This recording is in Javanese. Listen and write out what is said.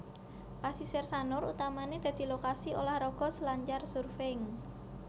Pasisir Sanur utamané dadi lokasi ulah raga selancar surfing